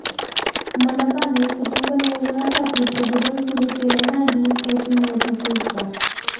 मनपाने कुटुंब नियोजनासाठी प्रबोधन सुरू केले नाही हेच नियतीचे उपकार